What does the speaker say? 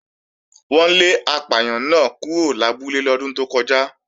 Wọ́n lé apàyàn náà kúrò lábúlé lọ́dún tó kọjá